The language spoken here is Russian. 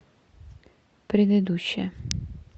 предыдущая